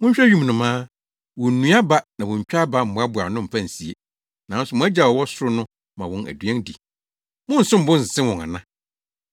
Monhwɛ wim nnomaa, wonnua aba na wontwa aba mmoaboa ano mfa nsie, nanso mo Agya a ɔwɔ ɔsoro no ma wɔn aduan di. Monnsom bo nsen wɔn ana?